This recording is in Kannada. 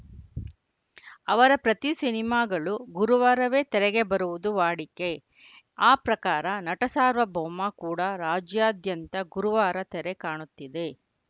ಅವರ ಪ್ರತಿ ಸಿನಿಮಾಗಳು ಗುರುವಾರವೇ ತೆರೆಗೆ ಬರುವುದು ವಾಡಿಕೆ ಆ ಪ್ರಕಾರ ನಟಸಾರ್ವಭೌಮ ಕೂಡ ರಾಜ್ಯಾದ್ಯಂತ ಗುರುವಾರ ತೆರೆ ಕಾಣುತ್ತಿದೆ